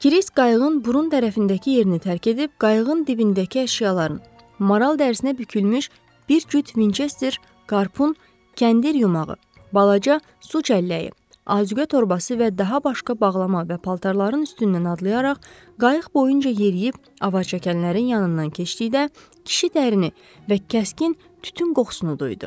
Kris qayığın burun tərəfindəki yerini tərk edib, qayığın dibindəki əşyaların – maral dərisinə bükülmüş bir cüt Vinçester, karpun, kəndir yumağı, balaca su çəlləyi, azuqə torbası və daha başqa bağlama və paltarların üstündən adlayaraq, qayıq boyunca yeriyib avarçəkənlərin yanından keçdikdə, kişi dərin və kəskin tütün qoxusunu duydu.